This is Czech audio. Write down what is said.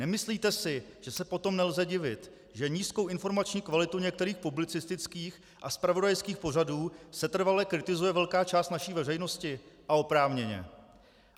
Nemyslíte si, že se potom nelze divit, že nízkou informační kvalitu některých publicistických a zpravodajských pořadů setrvale kritizuje velká část naší veřejnosti, a oprávněně?